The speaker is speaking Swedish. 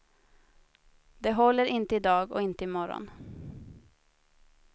Det håller inte i dag och inte i morgon.